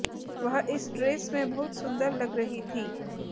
वह इस ड्रेस में बहुत सुंदर लग रही थी